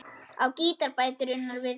Á gítar bætir Unnar við.